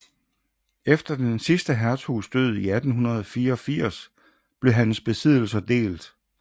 Efter den sidste hertugs død i 1884 blev hans besiddelser delt